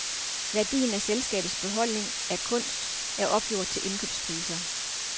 Værdien af selskabets beholdning af kunst er opgjort til indkøbspriser.